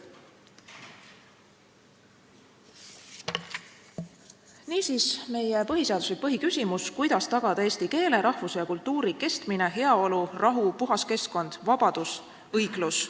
Niisiis, meie põhiseaduslik põhiküsimus: kuidas tagada eesti keele, rahvuse ja kultuuri kestmine; heaolu, rahu, puhas keskkond, vabadus, õiglus.